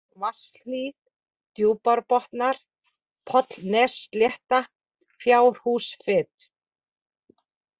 Vatnshlíð, Djúpárbotnar, Pollnesslétta, Fjárhúsfit